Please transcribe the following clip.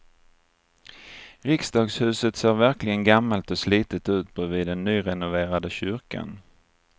Riksdagshuset ser verkligen gammalt och slitet ut bredvid den nyrenoverade kyrkan.